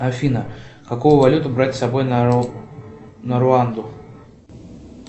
афина какую валюту брать с собой на руанду